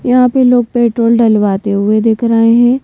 यहां पे लोग पेट्रोल डलवाते हुए दिख रहे हैं।